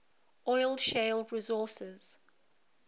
oil shale resources